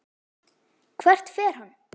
Hvert fer hann?